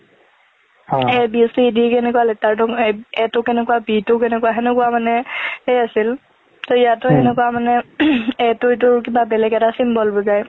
a b c d কেনেকুয়া letter টো ~a টো কেনেকুয়া b টো কেনেকুয়া, খেনেকুৱা মানে সেই আছিল , ত ইয়াতো হেনেকুৱা মানে a টো কিবা এটা বেলেগ এটা symbol বুজাই।